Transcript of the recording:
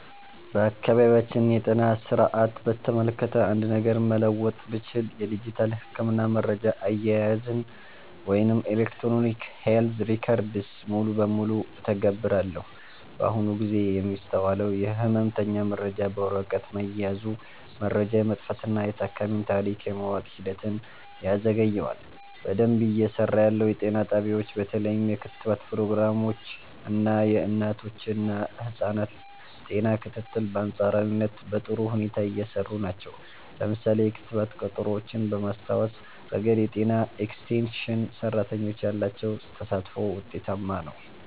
የአካባቢያችንን የጤና ሥርዓት በተመለከተ አንድ ነገር መለወጥ ብችል፣ የዲጂታል የሕክምና መረጃ አያያዝን (Electronic Health Records) ሙሉ በሙሉ እተገብራለሁ። በአሁኑ ጊዜ የሚስተዋለው የሕመምተኛ መረጃ በወረቀት መያዙ፣ መረጃ የመጥፋትና የታካሚን ታሪክ የማወቅ ሂደትን ያዘገየዋል። በደንብ እየሰራ ያለው፦ የጤና ጣቢያዎች በተለይም የክትባት ፕሮግራሞች እና የእናቶችና ህፃናት ጤና ክትትል በአንፃራዊነት በጥሩ ሁኔታ እየሰሩ ናቸው። ለምሳሌ፣ የክትባት ቀጠሮዎችን በማስታወስ ረገድ የጤና ኤክስቴንሽን ሰራተኞች ያላቸው ተሳትፎ ውጤታማ ነው።